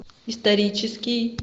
исторический